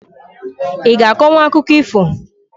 I g'a akọnwu akụkọ ifo?